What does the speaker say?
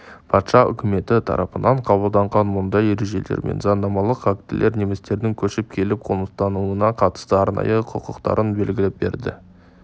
патша үкіметі тарапынан қабылданған мұндай ережелер мен заңнамалық актілер немістердің көшіп келіп қоныстануына қатысты арнайы құқықтарын белгілеп берді